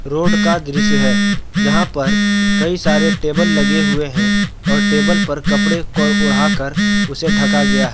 Road का दृश्य है जहाँ पर कई सारे टेबल लगे हुए हैं और टेबल पर कपड़े को ओढाकर उसे ढका गया है।